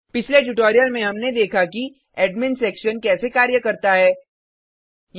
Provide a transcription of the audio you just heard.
पिछले ट्यूटोरियल में हमने देखा कि एडमिन सेक्शन कैसे कार्य करता है